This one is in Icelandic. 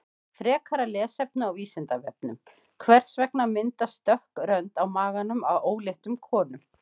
Frekara lesefni á Vísindavefnum: Hvers vegna myndast dökk rönd á maganum á óléttum konum?